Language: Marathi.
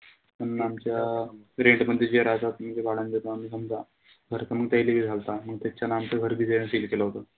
पण आमच्या rent मध्ये जे राहता म्हणजे भाड्याने देतो आम्ही समजा तर त म त्याहीले बी झालता. त्याच्याने आमचं घर बी त्यांहीं seal केलं होत.